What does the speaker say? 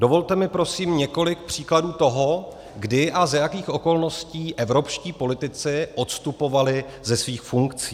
Dovolte mi prosím několik příkladů toho, kdy a za jakých okolností evropští politici odstupovali ze svých funkcí.